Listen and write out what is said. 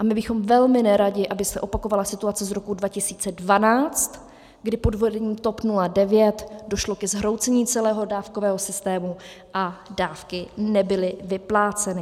A my bychom velmi neradi, aby se opakovala situace z roku 2012, kdy pod vedením TOP 09 došlo ke zhroucení celého dávkového systému a dávky nebyly vypláceny.